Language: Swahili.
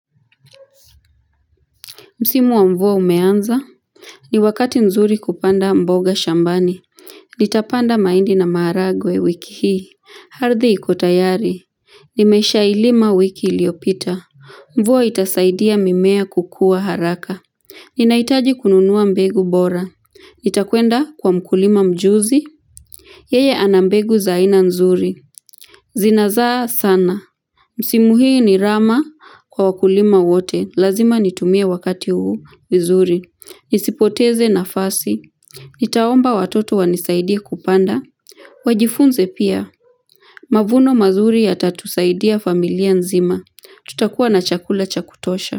Msimu wa mvua umeanza. Ni wakati nzuri kupanda mboga shambani. Nitapanda maindi na maharagwe wiki hii. Ardhi ikotayari. Nimesha ilima wiki iliopita. Mvua itasaidia mimea kukua haraka. Ninaitaji kununua mbegu bora. Nitakwenda kwa mkulima mjuzi. Yeye anambegu za aina nzuri. Zinazaa sana. Msimu hii ni rama kwa wakulima wote. Lazima nitumie wakati huu vizuri. Nisipoteze nafasi. Nitaomba watoto wanisaidie kupanda. Wajifunze pia. Mavuno mazuri ya tatusaidia familia nzima. Tutakuwa na chakula cha kutosha.